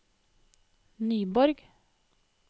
Nyborg